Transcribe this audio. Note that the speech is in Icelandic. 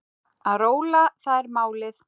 Að róla, það er málið.